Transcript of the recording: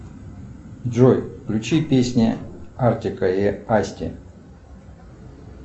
джой включи песня артика и асти